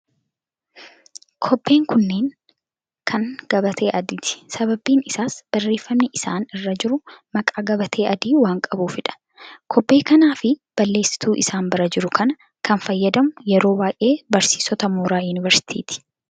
Kobbeen kunnneen kan gabatee adiiti. Sababni isaas barreeffamni isaan irra jiru maqaa gabatee adii waan qabuufidha. Kobbee kanaa fi balleessituu isaan bira jiru kana kan fayyadamu yeroo baay'ee barsiisota mooraa Yuuniversitiiti.